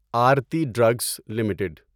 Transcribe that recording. Aarti drugs limited